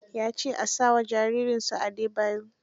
Ya ce a sa wa jaririnsa Adebayo.